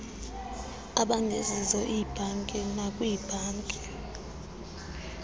abangezizo iibhanki nakwiibhanki